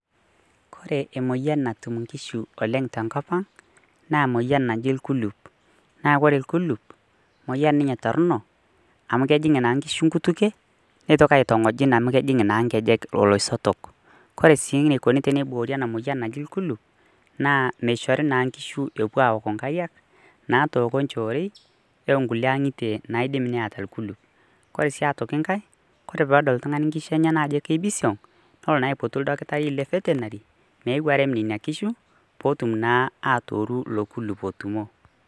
Kore emoyian natum nkishu oleng tenkop ang naa emoyian naji ilkulup. Kore ilkulup moyian ninye torrono amu kejing naa nkishu neitoki aitong`ojin amu kejing naa nkejek ilosotok. Ore enikoni teniboori ena moyian naji naa ilkulup naa meshori na nkishu epuo aoko nkariak natooko naa nkulie shoret o nkulie ang`itie naidim neeta ilkulup. Kore sii aitoki enkae, kore pee edol oltung`ani nkishu enyenak ajo kepisiong nelo naa aipotu oldakitari le vetinary meyeu arem nena kishu pee otum naa atooru ilo kulup otumo.